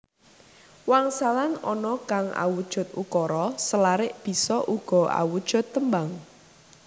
Wangsalan ana kang awujud ukara selarik bisa uga awujud tembang